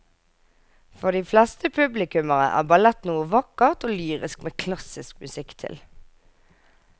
For de fleste publikummere er ballett noe vakkert og lyrisk med klassisk musikk til.